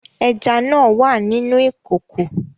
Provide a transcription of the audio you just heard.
Ẹja náà wà nínú ìkòkò